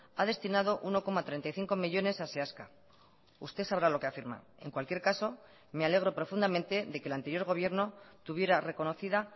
ha destinado uno coma treinta y cinco millónes a seaska usted sabrá lo que afirma en cualquier caso me alegro profundamente de que el anterior gobierno tuviera reconocida